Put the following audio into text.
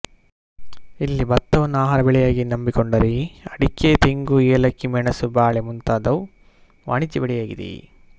ಇಲ್ಲಿ ಭತ್ತವನ್ನು ಆಹಾರ ಬೆಳೆಯಾಗಿ ನಂಬಿಕೊಂಡರೆ ಅಡಿಕೆ ತೆಂಗು ಏಲಕ್ಕಿ ಮೆಣಸು ಬಾಳೆ ಮುಂತಾದವು ವಾಣಿಜ್ಯ ಬೆಳೆಯಾಗಿದೆ